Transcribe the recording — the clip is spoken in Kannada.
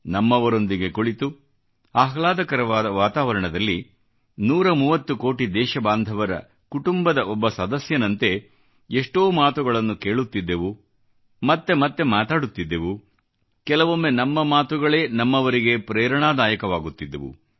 ನಮ್ಮವರೊಂದಿಗೆ ಕುಳಿತು ಆಹ್ಲಾದಕರವಾದ ವಾತಾವರಣದಲ್ಲಿ 130 ಕೋಟಿ ದೇಶಬಾಂಧವರ ಕುಟುಂಬದ ಒಬ್ಬ ಸದಸ್ಯನಂತೆ ಎಷ್ಟೋ ಮಾತುಗಳನ್ನು ಕೇಳುತ್ತಿದ್ದೆವು ಮತ್ತೆ ಮತ್ತೆ ಮಾತಾಡುತ್ತಿದ್ದೆವು ಕೆಲವೊಮ್ಮೆ ನಮ್ಮ ಮಾತುಗಳೇ ನಮ್ಮವರಿಗೆ ಪ್ರೇರಣಾದಾಯಕವಾಗುತ್ತಿದ್ದವು